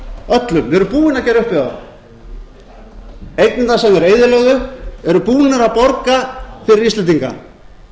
öllum við erum búin að gera upp við þá eignirnar sem þeir eyðilögðu eru búnar að borga fyrir íslendinga